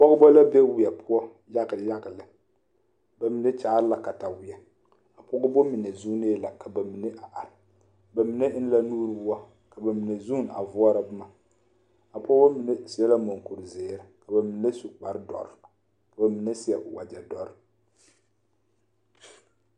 Pɔɡebɔ la be weɛ poɔ yaɡayaɡa lɛ ba mine kyaare la kataweɛ a pɔɡebɔ mine zuunee la ka ba mine a are ba mine eŋ la nuuri woɔ ka ba mine zuune a voɔrɔ boma a pɔɡebɔ mine seɛ la mɔŋkuriziiri ka ba mine su kpardɔre ka ba mine seɛ waɡyɛdɔre .